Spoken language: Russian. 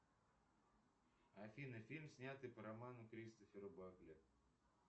афина фильм снятый по роману кристофера багли